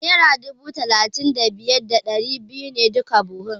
Naira dubu talatin da biyar da ɗari biyu ne duk buhu.